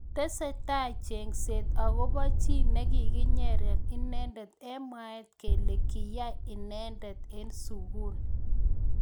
Tesetai chengset akobo chi nekikinyere inendet eng mwaet kele kiyai inendet�eng�sukul.